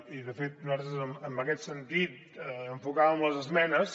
i de fet nosaltres en aquest sentit enfocàvem les esmenes